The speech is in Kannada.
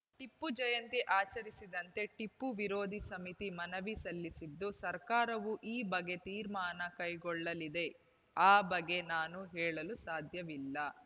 ಟಿಪ್ಪು ಜಯಂತಿ ಆಚರಿಸದಂತೆ ಟಿಪ್ಪು ವಿರೋಧಿ ಸಮಿತಿ ಮನವಿ ಸಲ್ಲಿಸಿದ್ದು ಸರ್ಕಾರವು ಈ ಬಗ್ಗೆ ತೀರ್ಮಾನ ಕೈಗೊಳ್ಳಲಿದೆ ಆ ಬಗ್ಗೆ ನಾನು ಹೇಳಲು ಸಾಧ್ಯವಿಲ್ಲ